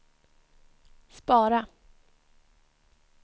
spara